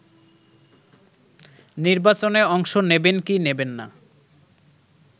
নির্বাচনে অংশ নেবেন কি নেবেন না